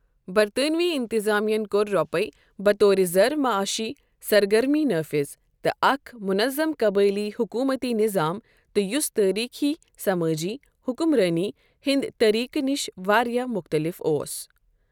برطانوی اِنتِظامیہَن کوٛر رۄپاے بطور زر معٲشی سرگرمی نٲفِذ تہِ اکھ منظم قبٲئلی حکومتی نِظام تہِ یُس تٲریٖخی سمٲجی حکمرٲنی ہِنٛدِ طریقہٕ نِش واریاہ مختلف اوس ۔